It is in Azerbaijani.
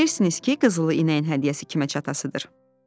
Bilirsiniz ki, qızılı inəyin hədiyyəsi kimə çatasıdır?